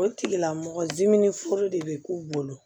O tigilamɔgɔ diminen foro de bɛ k'u bolo